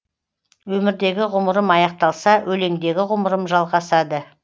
өмірдегі ғұмырым аяқталса өлеңдегі ғұмырым жалғасады